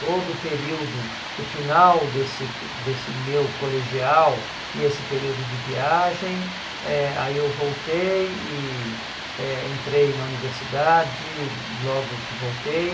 Todo o período, o final desse desse meu colegial e esse período de viagem, eh aí eu voltei e eh entrei na universidade, logo que voltei.